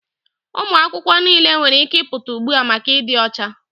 Ụmụ akwụkwọ niile nwere ike ịpụta ugbu a maka ịdị ọcha!